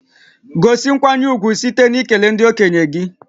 Gosi nkwanye ùgwù site n'ikele ndị okenye gị